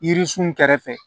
Yirisun kɛrɛfɛ